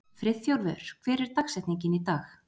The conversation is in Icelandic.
Friðþjófur, hver er dagsetningin í dag?